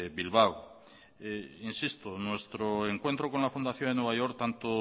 bilbao insisto nuestro encuentro con la fundación en nueva york tanto